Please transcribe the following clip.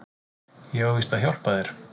Ég á víst að hjálpa þér.